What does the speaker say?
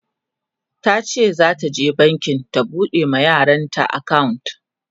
tace zata je banki ta buɗe ma yaranta akawunt